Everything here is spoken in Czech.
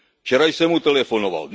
Včera jsem mu telefonoval.